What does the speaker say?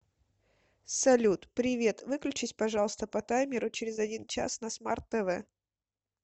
салют привет выключись пожалуйста по таймеру через один час на смарт тв